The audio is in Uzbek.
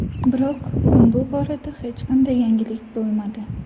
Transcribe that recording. Biroq, bugun bu borada hech qanday yangilik bo‘lmadi.